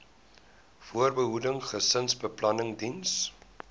voorbehoeding gesinsbeplanning diens